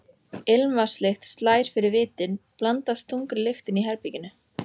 Ilmvatnslykt slær fyrir vitin, blandast þungri lyktinni í herberginu.